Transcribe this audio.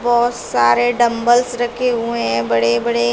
बहोत सारे डंबल्स रखे हुए है बड़े बड़े।